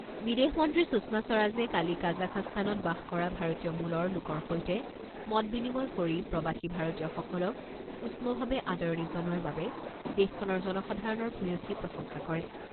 বিদেশ মন্ত্ৰী সুষমা স্বৰাজে কালি কাজাখাস্তানত বাস কৰা ভাৰতীয় মূলৰ লোকৰ সৈতে মত বিনিময় কৰি প্ৰৱাসী ভাৰতীয়সকলক উষ্মভাৱে আদৰণি জনোৱাৰ বাবে দেশখনৰ জনসাধাৰণৰ ভূয়সী প্ৰশংসা কৰে।